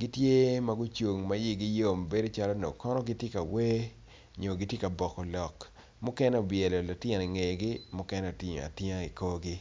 gitye magicung ma i gi yom mabedo calo dok kono gitye ka wer nyo gitye ka boko lok mukene obwelo lutino i ngegi mukene otingo atinga i korgi.